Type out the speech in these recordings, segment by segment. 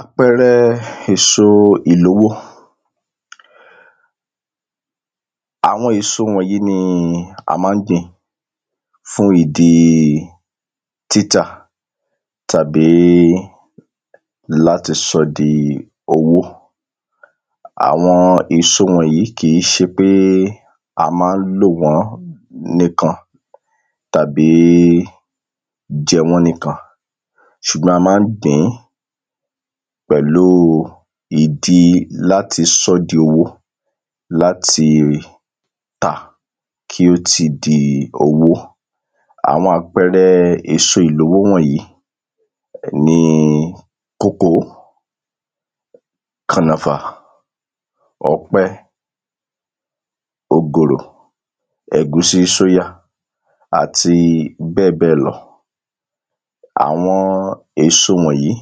àpẹẹrẹ èso ìlówó àwọn èso wọ̀nyí ni a máa ń gbìn fún ìdí títà tàbí láti sọ di owó àwọn èso wọ̀nyí kìí ṣe pé a máa ń lò wọ́n nìkan tàbí jẹ wọ́n nìkan sùgbọ́n a máa ń gbìn pẹ̀lú ìdí láti sọ di owó láti tà kí ó ti di owó àwọn àpẹẹrẹ èso ìlówó wọ̀nyí ni kòkó, kànàfà, ọ̀pẹ, ògòrò ẹ̀gúsí sóyà, àti bẹ́ẹ̀bẹ́ẹ̀lọ àwọn èso wọ̀nyí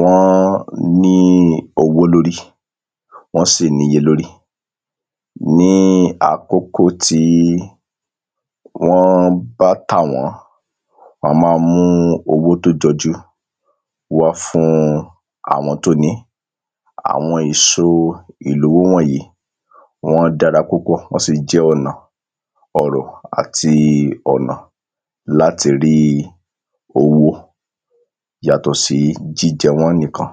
wọ́n ní owó lóri wọn sì níye lórí ní àkókò tí wọ́n bá tàwọ́n, wọ́n máa ń mú owó tó jọjú wá fún àwọn tó ní àwọn èso ìlówó wọ̀nyí wọ́n dára púpọ̀ wọ́n sì jẹ́ ọ̀nà ọrọ̀ àti ọ̀nà láti rí owó yàtọ̀ sí jíjẹ wọ́n nìkan